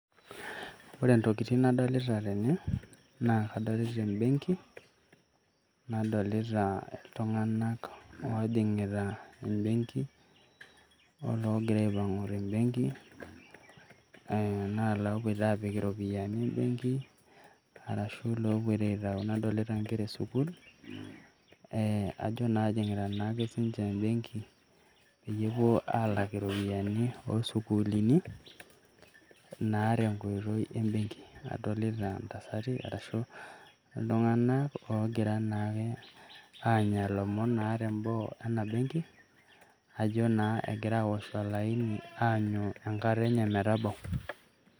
Ore ntokitin nadolita tene naa adolita embenki nadolita iltung'anak oojing'ita embenki oloogira aipang'u te mbenki naa lapoito apik iropiani embenki arashu loopoito aitayu. Nadolita nkera e sukuuul e ajo najing'ita naake siinje embenki peyie epuo alak iropiani o sukuuluni naa tenkoitoi e mbenki. Adolita ntasati arashu iltug'anak ogira naake aanya lomon naa teboo ena benki ajo naa egira awosh olaini aanyu enkata enye metabau.